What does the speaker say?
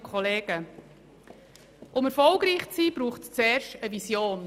Um erfolgreich zu sein, braucht es zuerst eine Vision.